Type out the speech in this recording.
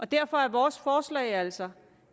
derfor er vores forslag altså